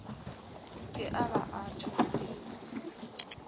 ke a ba a thoholetswa